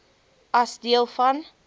as deel van